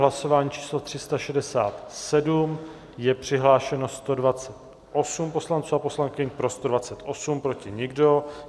Hlasování číslo 367, je přihlášeno 128 poslanců a poslankyň, pro 128, proti nikdo.